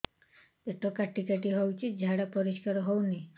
ପେଟ କାଟି କାଟି ହଉଚି ଝାଡା ପରିସ୍କାର ହଉନି